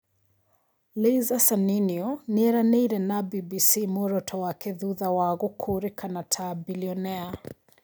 Laiser Saniniu: nĩranĩirie na BBC mũoroto wake thutha wa gũkũrĩkana ta Bilionea